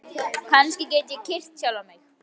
Kannski get ég kyrkt sjálfan mig?